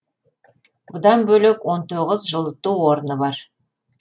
бұдан бөлек он тоғыз жылыту орны бар